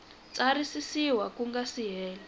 tsarisiwa ku nga si hela